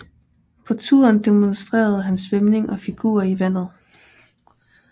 På turen demonstrerede han svømning og figurer i vandet